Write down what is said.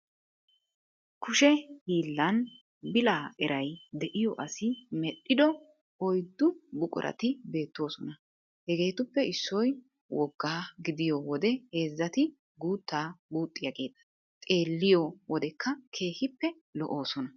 Kushe hiillan bila eray de'iyo asi medhdhido oyddu buqurati beettoosona. Hegeetuppe issoy woggaa gidiyo wode heezzati guuttaa guuxxiyageeta xeelliyo wodekka keehippe lo"oosona.